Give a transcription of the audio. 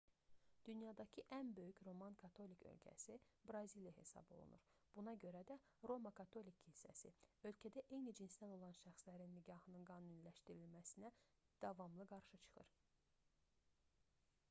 dünyadakı ən böyük roman katolik ölkəsi braziliya hesab olunur buna görə də roma katolik kilsəsi ölkədə eyni cinsdən olan şəxslərin nikahının qanuniləşdirilməsinə davamlı qarşı çıxır